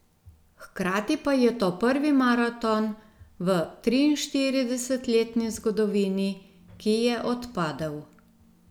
Hkrati pa je to prvi maraton v triinštiridesetletni zgodovini, ki je odpadel.